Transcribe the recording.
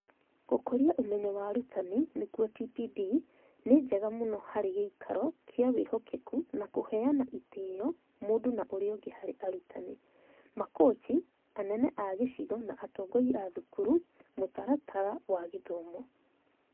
Gũkũria ũmenyo wa arutani (TPD) nĩ njega mũno hari gĩĩkaro kĩa wĩhokeku na kũheana ĩtĩo mũndũ na ũria ũngi hari arutani, makochi, anene a gĩcigo na atongoria a thukuru, mũtaratara wa gĩthomo.